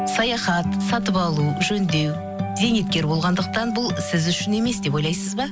саяхат сатып алу жөндеу зейнеткер болғандықтан бұл сіз үшін емес деп ойлайсыз ба